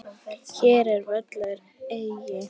Hér ég völur eygi.